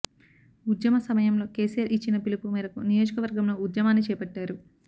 ఉద్యమ సమ యంలో కేసీఆర్ ఇచ్చిన పిలుపు మేరకు నియోజక వర్గంలో ఉద్యమాన్ని చేపట్టారు